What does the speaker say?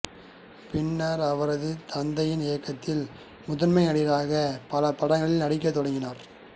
பின்னர் அவரது தந்தையின் இயக்கத்தில் முதன்மை நடிகராக பல படங்களில் நடிக்கத் தொடங்கினார்